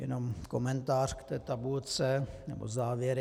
Jenom komentář k té tabulce nebo závěry.